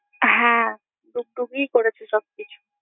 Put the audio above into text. হ্যাঁ, ডুগডুগই করেছে সবকিছু।